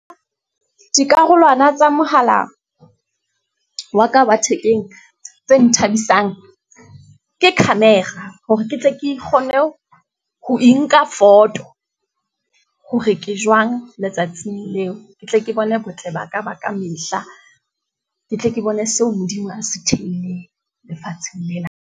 Dikarolwana tsa mohala wa ka wa thekeng tse nthabisang, ke camera. Hore ke tle ke kgone ho e nka a foto, hore ke jwang letsatsing leo. Ke tle ke bone botle ba ka ba ka mehla. Ke tle ke bone seo Modimo a se theilweng, lefatsheng lena.